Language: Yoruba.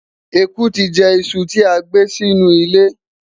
ẹkú ti jẹ iṣu ti agbé Si inú ile